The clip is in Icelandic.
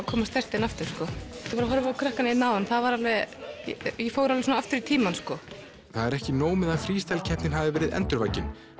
koma sterkt inn aftur ég var að horfa á krakkana áðan ég fór alveg aftur í tíman það er ekki nóg að Freestyle keppnin hafi verið endurvakin